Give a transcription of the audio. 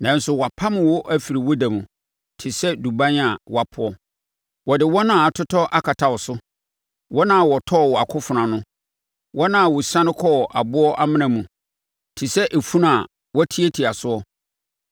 Nanso wɔapam wo afiri wo da mu te sɛ duban a wɔapoɔ; wɔde wɔn a atotɔ akata wo so, wɔn a wɔtɔɔ wɔ akofena ano, wɔn a wɔsiane kɔ aboɔ amena mu, te sɛ efunu a wɔatiatia soɔ.